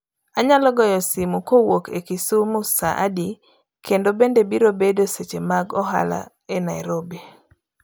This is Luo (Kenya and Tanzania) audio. Anyalo goyo simu kowuok e Kisumu saa adi kendo bende biro bedo seche mag ohala e Nairobi